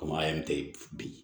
Kɔmɔ ye bi